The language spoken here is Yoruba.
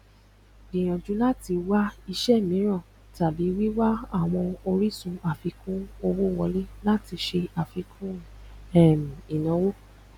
gbìyànjú láti wá ìṣe ímiran tàbí wíwá àwọn orísun àfikún owó wọlé láti ṣe àfikún um ìnáwó